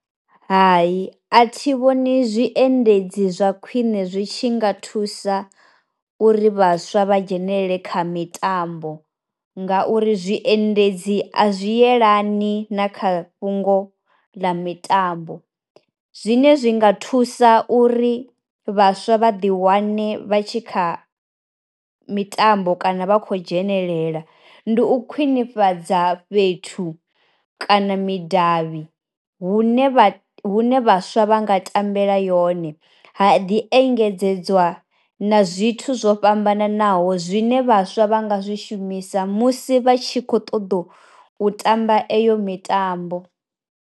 Hai a thi vhoni zwi endedzi zwa khwiṋe zwi tshi nga thusa uri vhaswa vha dzhenelele kha mitambo, nga uri zwi endedzi a zwi yelani na kha fhungo ḽa mitambo. Zwine zwi nga thusa uri vhaswa vha ḓi wane vha tshi kha mitambo kana vha kho dzhenelela, ndi u khwinifhadza fhethu kana midavhi hune vha hune vhaswa vha nga tambela yone ha ḓi engedzedzwa na zwithu zwo fhambananaho zwine vhaswa vha nga zwi shumisa musi vha tshi kho ṱoḓa u tamba heyo mitambo.